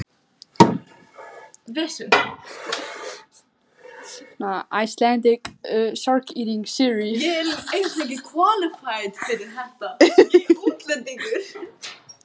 Jósafat, hvaða sýningar eru í leikhúsinu á föstudaginn?